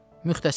Müxtəsər.